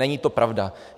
Není to pravda.